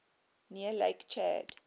near lake chad